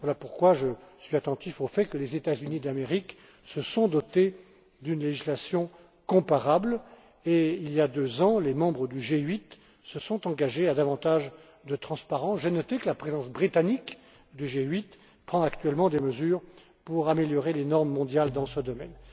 Voilà pourquoi je suis attentif au fait que les États Unis d'Amérique se sont dotés d'une législation comparable et que, il y a deux ans, les membres du G8 se sont engagés à davantage de transparence. J'ai noté que la présidence britannique du G8 prend actuellement des mesures pour améliorer les normes mondiales dans ce domaine.